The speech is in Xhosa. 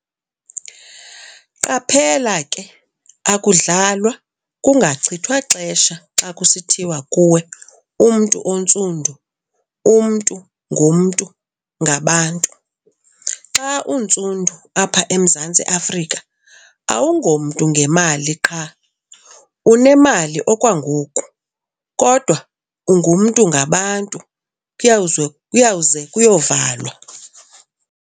QAPHELA KE AKUDLALWA KUNGACHITHWA XESHA XA KUSITHIWA KUWE MNTU ONTSUNDU 'UMNTU NGUMNTU NGABANTU'. XA UNTSUNDU APHA EMZANTSI AFRIKA, AWUNGOMNTU NGEMALI QHA UNEMALI OKWANGOKU, KODWA 'UNGUMNTU NGABANTU, KUYAWUZWE KUYAWUZE KUYOVALWA'.